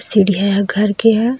सीढिया ह घर के हे।